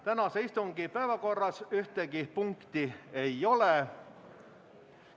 Tänase istungi päevakorras ühtegi punkti ei ole.